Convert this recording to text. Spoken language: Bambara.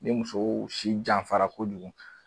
Ni muso si janfara kojugu